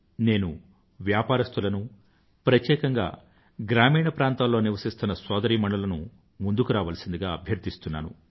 నేను వ్యాపారస్తులనూ ప్రత్యేకంగా గ్రామీణ ప్రాంతాల్లో నివసిస్తున్న సోదరీమణులను ముందుకు రావలసిందిగా అబ్యర్థిస్తున్నాను